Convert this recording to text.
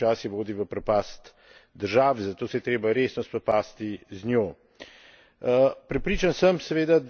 Predvsem je pomembno zavedanje o tem, da korupcija počasi vodi v propast države, zato se je treba resno spopasti z njo.